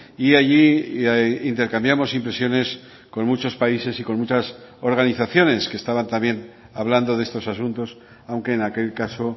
y allí intercambiamos impresiones con muchos países y con muchas organizaciones que estaban también hablando de estos asuntos aunque en aquel caso